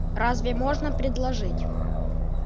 разве можно предложить